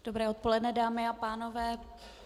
Dobré odpoledne, dámy a pánové.